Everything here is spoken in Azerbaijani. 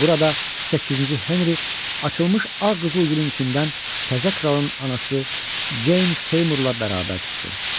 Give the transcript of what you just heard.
Burada səkkizinci Henrikh açılmış ağ qızıl gülün içindən təzə kralın anası Jane Seymourla bərabər çıxdı.